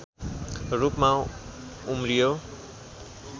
रूपमा उम्रियो